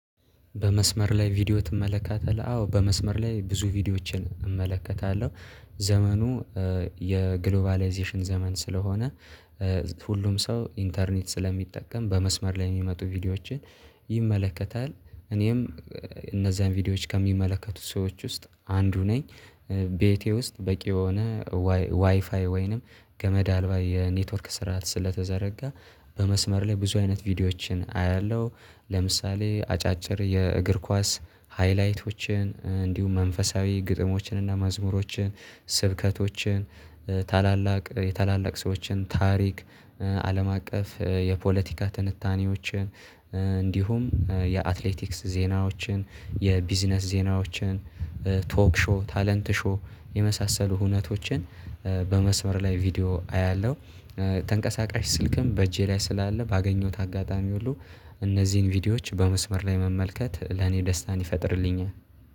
በመስመር ላይ ቪዲዮ ትመለከታለህ አዎ በመስመር ላይ ብዙ ቪዲዮዎችን እመለከታለሁ። ዘመኑ የግሎባላይዜሽን ዘመን ስለሆነ። ሁሉም ሰው ኢንተርኔት ስለሚጠቀም በመስመር ላይ የሚመጡ ቪዲዮዎችን ይመለከታል። እኔም እነዛን ቪዲዮዎች ከሚመለከቱት ሰዎች ውስጥ አንዱ ነኝ። ቤቴ ውስጥ በቂ የሆነ ዋይፋይ ወይንም ገመድ አልባ የኔትወርክ ስራዓት ስለተዘረጋ በመስመር ላይ ብዙ አይነት ቪዲዮዎችን አያለሁ። ለምሳሌ አጫጭር የእግር ኳስ ሃይላይቶችን እንዲሁም መንፈሳዊ ግጥሞችን እና መዝሙሮችን ስብከቶችን ታላላቅ የታላላቅ ሰዎችን ታሪክ አለም አቀፍ የፖለቲካ ትንታኔዎችን እንዲሁም የአትሌቲክስ ዜናዎችን የቢዝነስ ዜናዎችን ቶክ ሾው ታለንት ሾው የመሳሰሉ ሁነቶችን በመስመር ላይ ቪዲዮ አያለሁ። ተንቀሳቃሽ ስልክም በእጄ ላይ ስላለ ባገኘሁት አጋጣሚ ሁሉ እነዚህን ቪዲዮዎች በመስመር ላይ መመልከት ለኔ ደስታን ይፈጥርልኛል